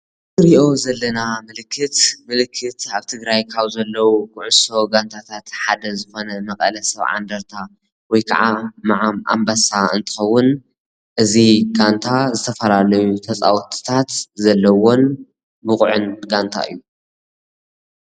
እዚ እንሪኦ ዘለና ምልክት ምልክት አብ ትግራይ ካብ ዘለዉ ኩዕሶ ጋንታታት ሓደ ዝኮነ መቐለ ሰብዓ ኢንድርታ ወይ ከዓ ምዓም ኣንበሳ እንትከውን እዚ ጋንታ ዝተፈላለዩ ተፀወትታት ዘለዎን ብቁዕን ጋንታ እዩ፡፡